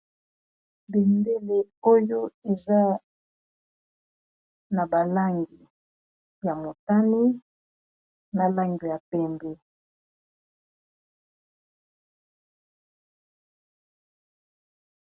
bendele oyo eza na balangi ya motani na langi ya pembe